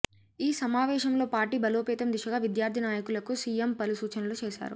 ఈ సమావేశంలో పార్టీ బలోపేతం దిశగా విద్యార్థి నాయకులకు సీఎం పలు సూచనలు చేశారు